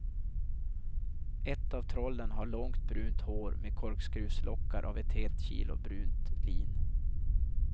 Ett av trollen har långt brunt hår med korkskruvslockar av ett helt kilo brunt lin.